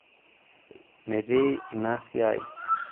metii ina siai